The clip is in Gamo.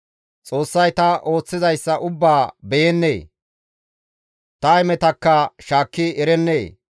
Xoossay ta ooththizayssa ubbaa beyennee? Ta hemetakka shaakki erennee?